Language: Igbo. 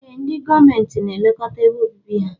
Ee ndi gọọmenti na elekọta ebe obibi ha.